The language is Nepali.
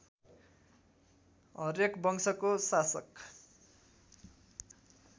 हर्यक वंशको शासक